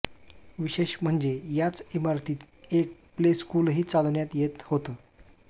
विशेष म्हणजे याच इमारतीत एक प्ले स्कूलही चालवण्यात येत होतं